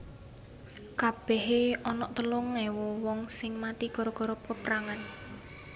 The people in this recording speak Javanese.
Kabehe onok telung ewu wong sing mati gara gara peprangan